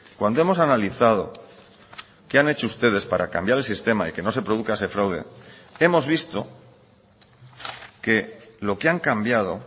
cuando hemos analizado qué han hecho ustedes para cambiar el sistema y que no se produzca ese fraude hemos visto que lo que han cambiado